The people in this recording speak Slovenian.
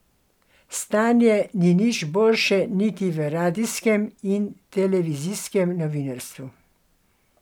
Stanje ni nič boljše niti v radijskem in televizijskem novinarstvu.